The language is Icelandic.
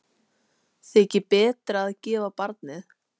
Þykir betra að gefa barnið.